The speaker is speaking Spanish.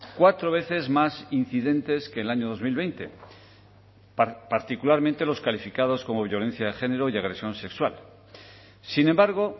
cuatro veces más incidentes que en el año dos mil veinte particularmente los calificados como violencia de género y agresión sexual sin embargo